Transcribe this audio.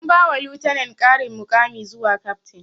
An ba wa lieutenent ƙarin muƙami zuwa captain